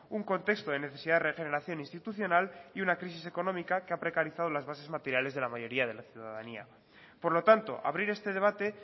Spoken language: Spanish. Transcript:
un contexto de necesidad de regeneración institucional y una crisis económica que ha precarizado las bases materiales de la mayoría de la ciudadanía por lo tanto abrir este debate